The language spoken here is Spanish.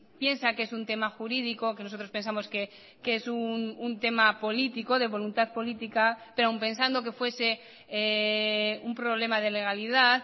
piensa que es un tema jurídico que nosotros pensamos que es un tema político de voluntad política pero aún pensando que fuese un problema de legalidad